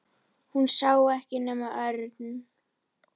Hún sá ekkert nema Örn.